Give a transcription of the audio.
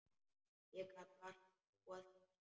Ég gat vart trúað þessu.